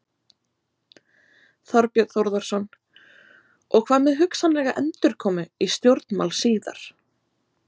Þorbjörn Þórðarson: Og hvað með hugsanlega endurkomu í stjórnmál síðar?